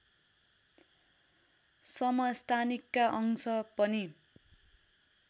समस्थानिकका अंश पनि